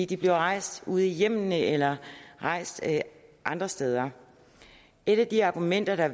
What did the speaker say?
de bliver rejst ude i hjemmene eller rejst andre steder et af de argumenter der